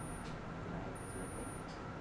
играй где ты